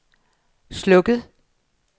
slukket